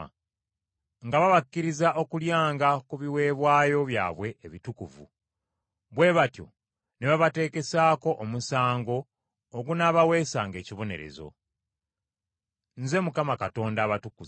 nga babakkiriza okulyanga ku biweebwayo byabwe ebitukuvu, bwe batyo ne babateekesaako omusango ogunaabaweesanga ekibonerezo. Nze Mukama Katonda abatukuza.”